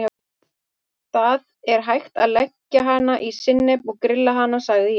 Það er hægt að leggja hana í sinnep og grilla hana sagði ég.